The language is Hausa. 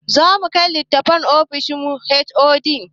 Zamu kai litatafen ofishin HOD